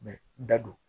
da don